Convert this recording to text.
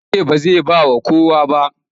Ya ce ba zai ba wa kowa ba.